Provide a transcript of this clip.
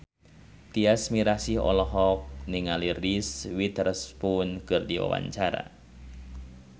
Tyas Mirasih olohok ningali Reese Witherspoon keur diwawancara